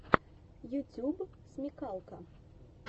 ютьюб смекалка